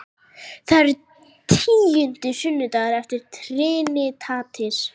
Það er tíundi sunnudagur eftir trinitatis.